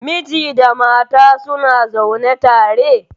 Miji da mata suna zaune tare.